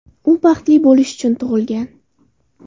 U baxtli bo‘lish uchun tug‘ilgan”.